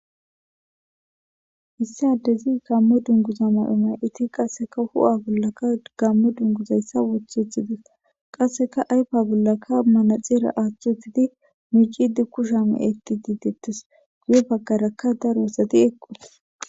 issi adezi gammo dunguza mayomay iti qasseka hu7a bollaka gammo dunguzayssa woth uthides qasseka aypa bollaka manaxeera aaththuutidi miicidi kusha me eti didettes guye baggarakka daro osati eqqos